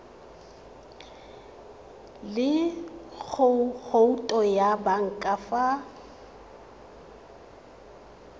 le khoutu ya banka fa